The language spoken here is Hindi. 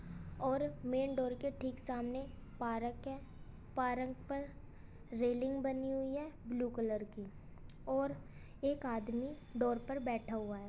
और मेन डोर के ठीक सामने पार्क है | पार्क पर रेलिंग बनी हुई है ब्लू कलर की और एक आदमी डोर पर बैठा हुआ है --